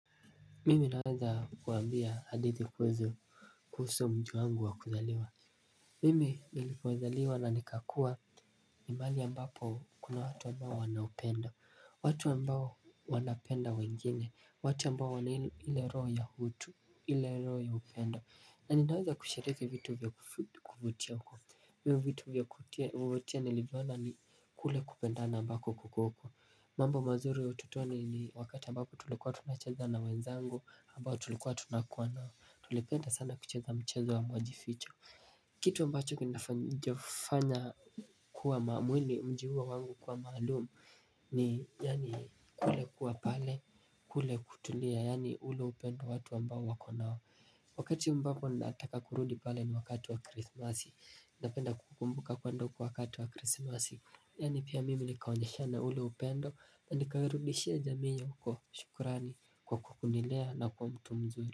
Mimi naweza kuambia hadithi kwezo kuhusu mji wangu wa kuzaliwa. Mimi nilipozaliwa na nikakua ni mahali ambapo kuna watu ambao wanaupenda. Watu ambao wanapenda wengine, watu ambao wana ile roho ya utu ile roho ya upendo. Na ninaweza kushiriki vitu vya kuf kuvutia huko. Mimu vitu vya kufutia nilivwana ni kule kupenda na ambako kukoko. Mambo mazuri ya ututoni ni wakati ambapo tulikuwa tunacheza na wenzangu ambao tulikuwa tunakuwa nao. Tulipenda sana kucheza mchezo wa majificho. Kitu ambacho kinafanya kuwa mamwini mjiuwa wangu kuwa maalumu kulikuwa pale yani ule upendo ambao watu wako nao. Wakati ambapo nataka kurudi pale ni wakati wa krismasi. Napenda kukumbuka kwenda uko wakati wa krismasi. Yani pia mimi nikaonyeshana ule upendo na nikaerudishia jaminyo kwa shukurani kwa kukunilea na kwa mtu mzuri.